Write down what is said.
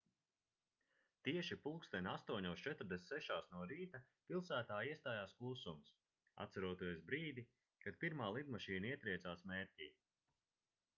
tieši plkst 08:46 no rīta pilsētā iestājās klusums atceroties brīdi kad pirmā lidmašīna ietriecās mērķī